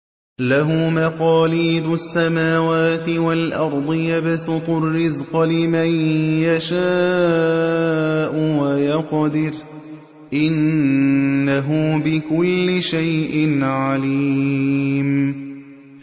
لَهُ مَقَالِيدُ السَّمَاوَاتِ وَالْأَرْضِ ۖ يَبْسُطُ الرِّزْقَ لِمَن يَشَاءُ وَيَقْدِرُ ۚ إِنَّهُ بِكُلِّ شَيْءٍ عَلِيمٌ